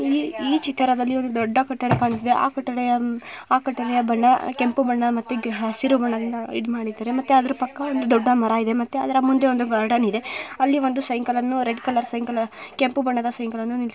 ಈ ಈ ಚಿತ್ರದಲ್ಲಿ ಒಂದು ದೊಡ್ಡ ಕಟ್ಟಡ ಕಾಣುತ್ತಿದೆ ಆ ಕಟ್ಟಡ ಆ ಕಟ್ಟಡಯ ಬಣ್ಣ ಕೆಂಪು ಬಣ್ಣ ಮತ್ತೆ ಹಸಿರು ಬಣ್ಣದಿಂದ ಇದ್ ಮಾಡಿದರೆ ಮತ್ತೆ ಅದರ ಪಕ್ಕ ಒಂದು ದೊಡ್ಡ ಮರ ಇದೆ ಮತ್ತೆ ಅದರ ಮುಂದೆ ಒಂದು ಗಾರ್ಡನ್‌ ಇದೆ. ಅಲ್ಲಿ ಒಂದು ಸೈಕಲ್‌ ರೆಡ್‌ ಕಲರ್‌ ಸೈಕಲ್‌ ಕೆಂಪು ಬಣ್ಣದ ಸೈಕಲ್‌ ನಿಲ್ಲಿಸಿ--